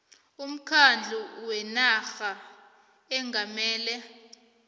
umkhandlu wenarha ongamele